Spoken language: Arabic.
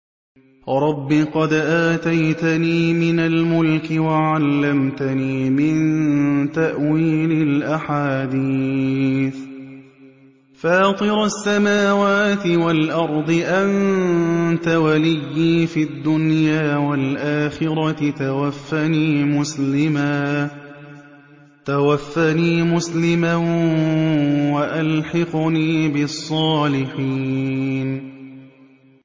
۞ رَبِّ قَدْ آتَيْتَنِي مِنَ الْمُلْكِ وَعَلَّمْتَنِي مِن تَأْوِيلِ الْأَحَادِيثِ ۚ فَاطِرَ السَّمَاوَاتِ وَالْأَرْضِ أَنتَ وَلِيِّي فِي الدُّنْيَا وَالْآخِرَةِ ۖ تَوَفَّنِي مُسْلِمًا وَأَلْحِقْنِي بِالصَّالِحِينَ